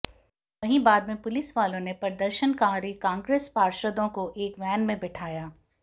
वहीं बाद में पुलिसवालों ने प्रदर्शनकारी कांग्रेस पार्षदों को एक वैन में बैठाया